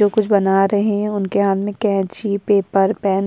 जो कुछ बना रहे है उनके हाथ में कैची पेपर पैन --